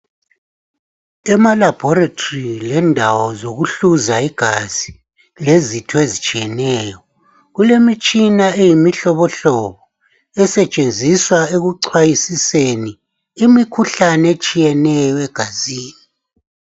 Emalaboratory lendawo zokuhluza igazi lezitho ezitshiyeneyo . Kulemitshina eyimihlobohlobo hlobo esetshenziswa ukuchwayisiseni imikhuhlane etshiyeneyo egazini.